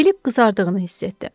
Filip qızardığını hiss etdi.